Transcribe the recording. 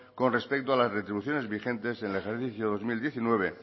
con respecto a las retribuciones vigentes en el ejercicio dos mil diecinueve